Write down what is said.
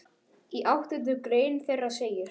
Í áttundu grein þeirra segir